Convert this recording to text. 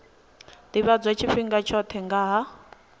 ḓivhadzwa tshifhinga tshoṱhe nga ha